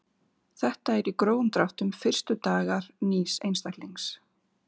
Þetta eru í grófum dráttum fyrstu dagar nýs einstaklings.